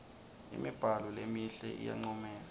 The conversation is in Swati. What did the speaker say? imibhalo lemihle iyancomeka